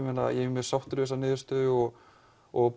mjög sáttur við þessa niðurstöðu og og